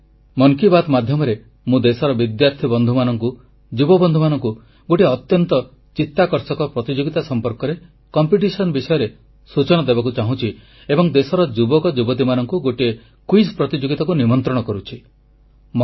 ଆଜି ମନ କି ବାତ୍ ମାଧ୍ୟମରେ ମୁଁ ଦେଶର ବିଦ୍ୟାର୍ଥୀ ବନ୍ଧୁମାନଙ୍କୁ ଯୁବବନ୍ଧୁମାନଙ୍କୁ ଗୋଟିଏ ଅତ୍ୟନ୍ତ ଚିତ୍ତାକର୍ଷକ ପ୍ରତିଯୋଗିତା ସମ୍ପର୍କରେ ସୂଚନା ଦେବାକୁ ଚାହୁଁଛି ଏବଂ ଦେଶର ଯୁବକ ଯୁବତୀମାନଙ୍କୁ ଗୋଟିଏ ସାଧାରଣ ଜ୍ଞାନ ପ୍ରତିଯୋଗିତାକୁ ନିମନ୍ତ୍ରଣ କରୁଛି